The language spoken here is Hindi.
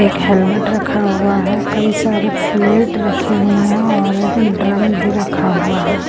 एक हेलमेट रखा हुआ है कई सारे प्लेट रखी हुई हैं और एक ड्रम भी रखा हुआ है।